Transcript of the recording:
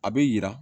A bɛ yira